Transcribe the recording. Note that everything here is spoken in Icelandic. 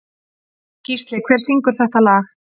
Gísli, hver syngur þetta lag?